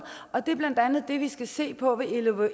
og det er blandt andet det vi skal se på ved